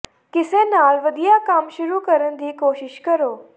ਕਿਸੇ ਨਾਲ ਵਧੀਆ ਕੰਮ ਸ਼ੁਰੂ ਕਰਨ ਦੀ ਕੋਸ਼ਿਸ਼ ਕਰੋ